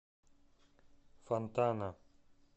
фонтана